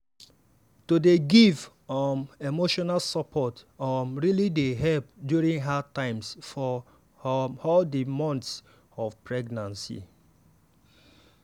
to dey give um emotional support um really dey help during hard times for um all di months of pregnancy.